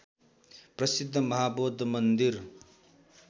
प्रसिद्ध महाबौद्ध मन्दिर